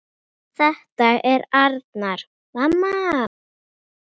En svona var þetta.